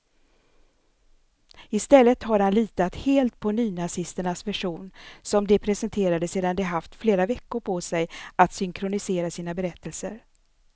I stället har han litat helt på nynazisternas version, som de presenterade sedan de haft flera veckor på sig att synkronisera sina berättelser.